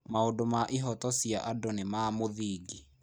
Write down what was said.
Maũndũ ma ihooto cia andũ nĩ ma mũthingi.